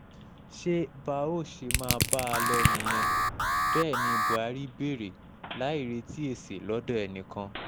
ṣé bá a óò ṣe máa bá a a lọ nìyẹn bẹ́ẹ̀ ni buhari béèrè láì retí èsì lọ́dọ̀ ẹnìkan